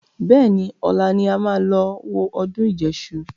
Bẹ́ẹ̀ni, ọ̀la ni a máa lọ wo ọdún ìjẹṣu